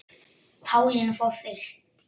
Pálína fór fyrst.